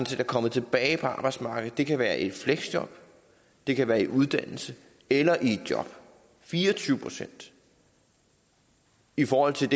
set er kommet tilbage på arbejdsmarkedet det kan være i et fleksjob det kan være i uddannelse eller i et job fire og tyve procent i forhold til